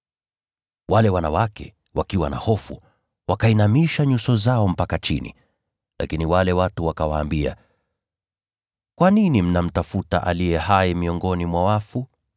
Wale wanawake, wakiwa na hofu, wakainamisha nyuso zao mpaka chini. Lakini wale watu wakawaambia, “Kwa nini mnamtafuta aliye hai miongoni mwa wafu?